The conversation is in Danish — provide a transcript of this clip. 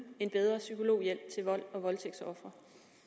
en bedre psykologhjælp til volds og voldtægtsofre